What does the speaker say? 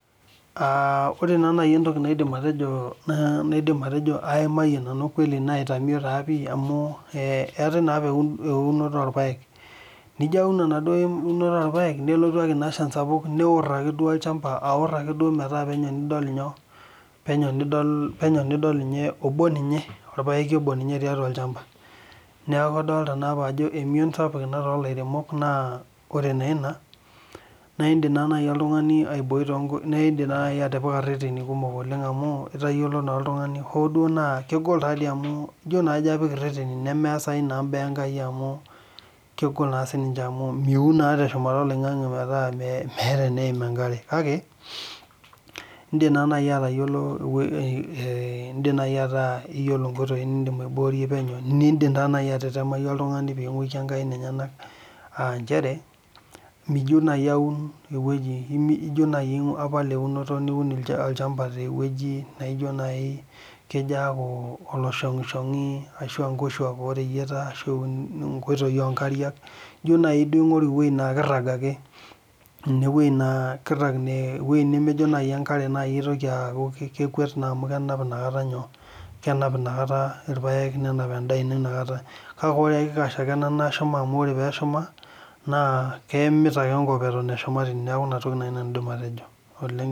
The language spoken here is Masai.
Aa ore nai entoki naidim atejo na naidim atejo aitamie pii amu keetae na eunoto orpaek nijo aun irpaek nelotu enchan aor olchamba aor akeduo metaa penyo nidol nyoo orpaeki obo tiatua olchamba neaku kadolta ajo emion sapuk tolaremok na ore na ina indim atipika reteni na kegol na amu ijo apik reteni na kegol naa esiai enkai amu niyiolou nimindim si atuuno teshumata oloingangi metaa merta eneim enkare kake indim nai atayiolo eneim enkare niyiolo nkoitoi nindim aibokie ningukie enkae nenyenak aa nchere mijo nai aun ewoji ijo nai aun olchamba naijo nai kejo aaku oloishongishongi ashu nkoshuak oreyieta ijo nai aingoru ewoi na kirag ewoi nakejo enkare airag amu kenap naa enkare nakata irpaek nemut amu ore peshuma naore peshuma ba keimu egira aim ine.